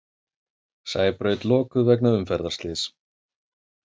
Sæbraut lokuð vegna umferðarslyss